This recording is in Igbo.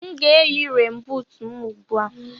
M ga-eyi renbuut m ugbu a.